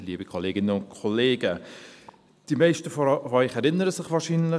Die meisten von Ihnen erinnern sich wahrscheinlich: